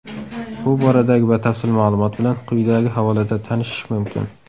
Bu boradagi batafsil ma’lumot bilan quyidagi havolada tanishish mumkin.